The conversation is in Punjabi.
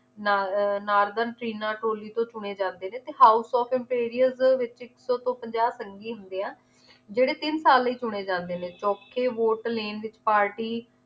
ਨਾ ਅਹ ਨਾਰਗਨ ਚੀਨਾ ਟੋਲੀ ਤੋਂ ਚੁਣੇ ਜਾਂਦੇ ਨੇ ਤੇ house of imperials ਵਿਚ ਇਕ ਤੋਂ ਪੰਜਾਹ ਸੰਗੀ ਹੁੰਦੇ ਆ ਜਿਹੜੇ ਤਿੰਨ ਸਾਲ ਲਈ ਚੁਣੇ ਜਾਂਦੇ ਨੇ ਚੋਖੇ ਵੋਟ ਲੇਨ party